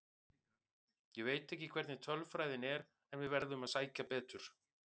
Ég veit ekki hvernig tölfræðin er en við verðum að sækja betur.